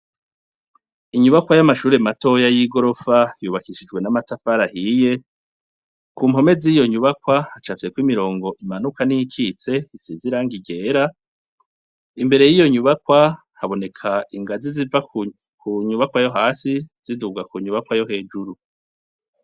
Inyubakwa y'amashure matoya y'i gorofa yubakishijwe n'amatafarahiye ku mpome z'iyo nyubakwa hacavyeko imirongo imanuka n'icitse isiziranga irera imbere y'iyo nyubakwa haboneka ingazi ziva ku nyubakwa yo hasi ziduga ku nyubakwa yo hejuru.